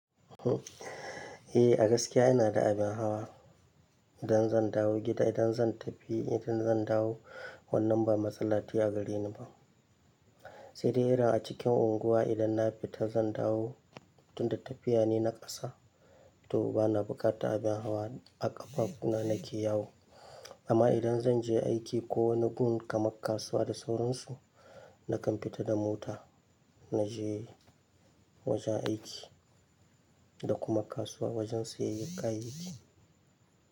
Eh, a gaskiya ina da abin hawa idan zan dawo gida, idan zan tafi, idan zan dawo. Wannan ba matsala ce a gare ni ba, sai dai irin a cikin unguwa idan na fita zan dawo tun da tafiya ne na ƙasa to bana buƙatar abin hawa a ƙafafuna nake yawo. Amma idan zan je aiki ko wani gun kamar kasuwa da sauransu nakan fita da mota na je wajen aiki da kuma kasuwa wajen siyayyar kayayyaki.